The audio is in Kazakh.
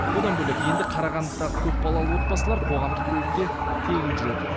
одан бөлек қарағандыдағы көпбалалы отбасылар қоғамдық көлікте тегін жүреді